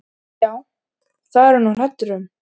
Já, það er ég nú hræddur um.